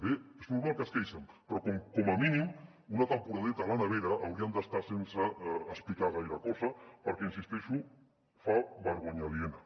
bé és normal que es queixin però com a mínim una temporadeta a la nevera haurien d’estar hi sense explicar gaire cosa perquè hi insisteixo fa vergonya aliena